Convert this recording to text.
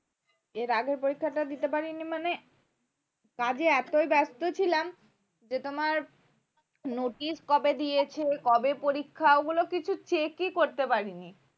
এর আগে পরীক্ষাটা দিতে পারিনি মানে কাজে এত ব্যস্ত ছিলাম যে তোমার notice কবে দিয়েছে কবে পরীক্ষা ওগুলো কিছু check ই করতে পারিনি